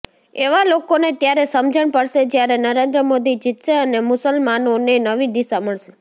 એવા લોકોને ત્યારે સમજણ પડશે જ્યારે નરેન્દ્ર મોદી જીતશે અને મુસલમાનોને નવી દિશા મળશે